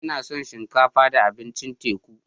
Ina son shinkafa da abincin teku.